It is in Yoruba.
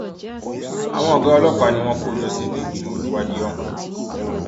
àwọn ọgá ọlọpàá ni wọn kò jọ sínú ìgbìmọ olùwádìí ọhún